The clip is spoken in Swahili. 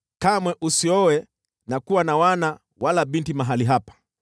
“Kamwe usioe na kuwa na wana wala binti mahali hapa.”